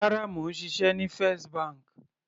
Rárá, mò ń ṣiṣẹ́ ní First bank.